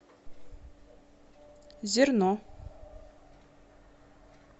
зерно